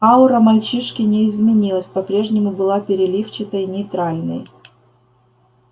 аура мальчишки не изменилась по-прежнему была переливчатой нейтральной